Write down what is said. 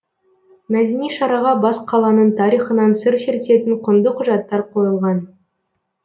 мәдени шараға бас қаланың тарихынан сыр шертетін құнды құжаттар қойылған